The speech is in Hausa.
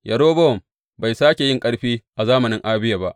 Yerobowam bai sāke yin ƙarfi a zamanin Abiya ba.